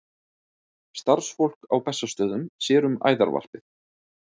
Starfsfólk á Bessastöðum sér um æðarvarpið.